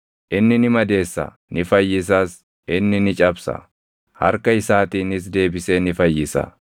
Inni ni madeessa; ni fayyisas; inni ni cabsa; harka isaatiinis deebisee ni fayyisa.